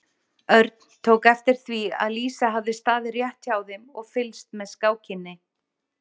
Örn tók eftir því að Lísa hafði staðið rétt hjá þeim og fylgst með skákinni.